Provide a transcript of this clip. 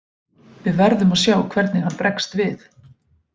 Við verðum að sjá hvernig hann bregst við.